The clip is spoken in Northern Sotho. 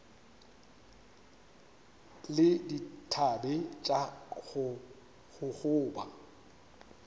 le dithabe tša go gogoba